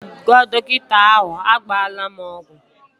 Aga m agwa dọkịta ahụ, agbala m ọgwụ!